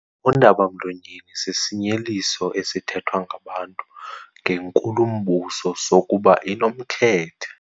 Undaba-mlonyeni sisinyeliso esithethwa ngabantu ngenkulumbuso sokuba inomkhethe.